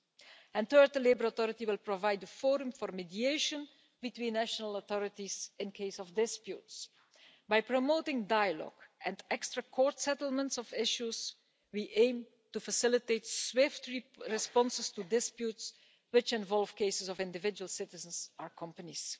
Third, the European Labour Authority will provide a forum for mediation between national authorities in case of disputes. By promoting dialogue and out of court settlements of issues, we aim to facilitate swift responses to disputes which involve cases of individual citizens or companies.